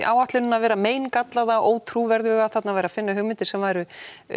áætlunina vera meingallaða og ótrúverðuga þarna væri að finna hugmyndir sem væru